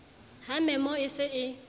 ha memo e se e